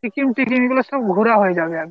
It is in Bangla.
সিকিম টিকিম গুলো সব ঘোরা হয়ে যাবে একবার।